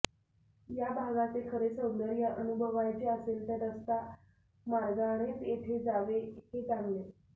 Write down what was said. या भागाचे खरे सौंदर्य अनुभवायचे असेल तर रस्ता मार्गानेच येथे जावे हे चांगले